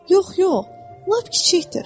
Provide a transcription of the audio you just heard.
Yox, yox, lap kiçikdir.